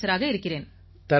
ஆஃபீசராக இருக்கிறேன்